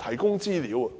提供資料。